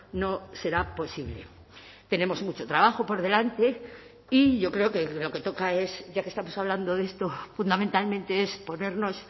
no será posible tenemos mucho trabajo por delante y yo creo que lo que toca es ya que estamos hablando de esto fundamentalmente es ponernos